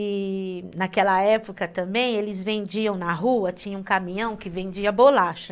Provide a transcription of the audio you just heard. E naquela época também, eles vendiam na rua, tinha um caminhão que vendia bolacha.